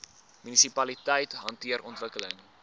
munisipaliteite hanteer ontwikkeling